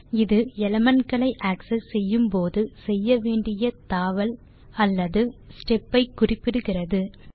001856 001800 இது எலிமெண்ட் களை ஆக்செஸ் செய்யும் போது செய்ய வேண்டிய தாவல் அல்லது ஸ்டெப் ஐ குறிப்பிடுகிறது